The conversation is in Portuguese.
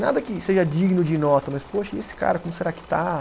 Nada que seja digno de nota, mas, poxa, e esse cara, como será que está?